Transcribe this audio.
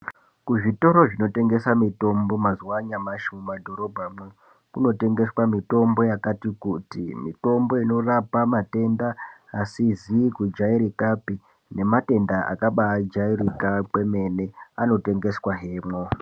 Kuzvitoro zvinotengesa mitombo, mazuvanyamashe , mumadhorobha mo, kunotengeswa mitombo yakati kuti. Mitombo inorapa matenda asizikujairikape, nematenda akabajairika kwemene anotengeswa hemo.